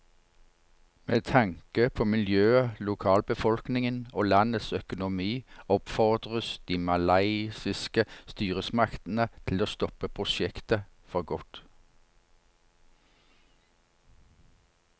Med tanke på miljøet, lokalbefolkningen og landets økonomi oppfordres de malaysiske styresmaktene til å stoppe prosjektet for godt.